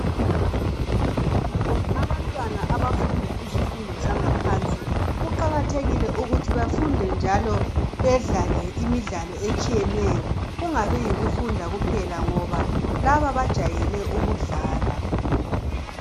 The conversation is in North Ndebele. Abantwana abafunda izifundo zangaphansi, kuqakathekile ukuthi bafunde njalo bedlale imidlalo etshiyeneyo. Kungabi yikufunda kuphela ngoba laba bajayele ukudlala.